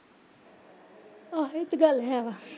ਆਹੋ ਇਹ ਤਾਂ ਗੱਲ ਹੈ ਵਾ।